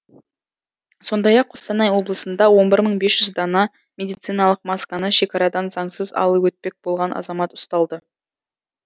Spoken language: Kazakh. сондай ақ қостанай облысында он бір мың бес жүз дана медициналық масканы шекарадан заңсыз алып өтпек болған азамат ұсталды